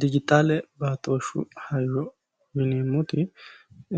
dijitaale baatooshshu hayyo yineemoti